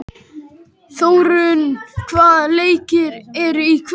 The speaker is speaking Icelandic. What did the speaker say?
Þórörn, hvaða leikir eru í kvöld?